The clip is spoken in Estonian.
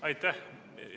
Aitäh!